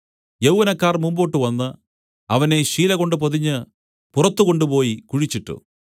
യൗവനക്കാർ മുന്നോട്ട് വന്ന് അവനെ ശീലകൊണ്ട് പൊതിഞ്ഞ് പുറത്തുകൊണ്ടുപോയി കുഴിച്ചിട്ടു